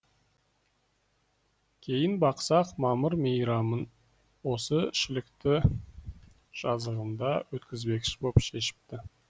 кейін бақсақ мамыр мейрамын осы шілікті жазығында өткізбекші боп шешіпті